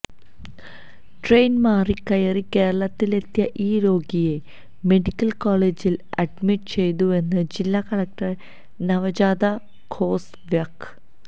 train മാറിക്കയറി കേരളത്തിലെത്തിയ ഈ രോഗിയെ മെഡിക്കൽ കോളേജിൽ അഡ്മിറ്റ് ചെയ്തുവെന്ന് ജില്ലാ കളക്ടർ നവജോത് ഖോസ വ്യക്